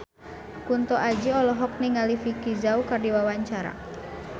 Kunto Aji olohok ningali Vicki Zao keur diwawancara